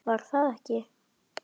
Var það ekki????